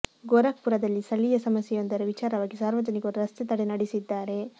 ಗೋರಖ್ ಪುರದಲ್ಲಿ ಸ್ಥಳೀಯ ಸಮಸ್ಯೆಯೊಂದರ ವಿಚಾರವಾಗಿ ಸಾರ್ವಜನಿಕರು ರಸ್ತೆ ತಡೆ ನಡೆಸಿದ್ದಾರೆ